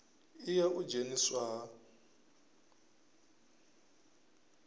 i ya u dzheniswa ha